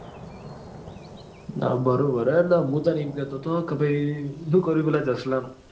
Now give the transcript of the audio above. હા બરોબર છે એટલે મુ તને એમ કેતો કે ભાઈ શું કર્યું પેલા જસ્લા નું?